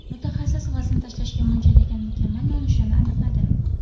Mutaxassis vazn tashlashga mo‘ljallagan mukammal nonushtani aniqladi.